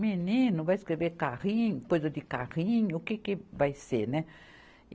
Menino, vai escrever carrinho, coisa de carrinho, o que que vai ser, né?